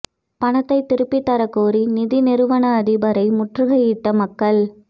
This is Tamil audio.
பணத்தை திருப்பி தர கோரி நிதி நிறுவன அதிபரை முற்றுகையிட்ட மக்கள்